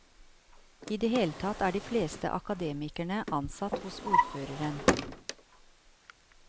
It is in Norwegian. I det hele tatt er de fleste akademikerne ansatt hos ordføreren.